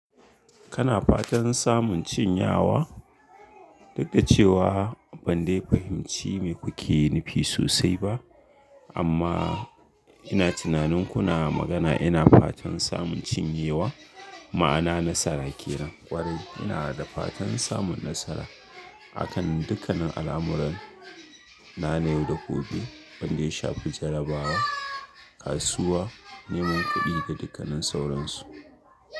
Kana fatan samun cinyawa? Duk da cewa ban dai fahimci me kuke nufi sosai ba, amma ina tunanin kuna magana ina fatan samun cinyewa, ma'ana nasara kenan. Kwarai ina da fatan samun nasara akan dukkannin al'amuran na na yau da gobe, wanda ya shafi jarrabawa, kasuwa, neman kuɗi da dukkannin sauransu.